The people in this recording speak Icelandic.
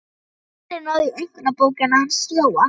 Lalli náði í einkunnabókina hans Jóa.